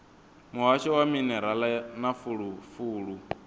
muhasho wa minerala na fulufulu